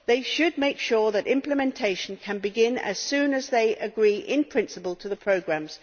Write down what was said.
They should make sure that implementation can begin as soon as they agree in principle to the programmes.